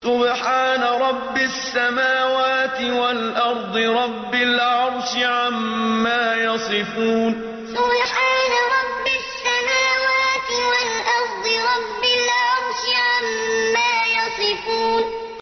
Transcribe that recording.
سُبْحَانَ رَبِّ السَّمَاوَاتِ وَالْأَرْضِ رَبِّ الْعَرْشِ عَمَّا يَصِفُونَ سُبْحَانَ رَبِّ السَّمَاوَاتِ وَالْأَرْضِ رَبِّ الْعَرْشِ عَمَّا يَصِفُونَ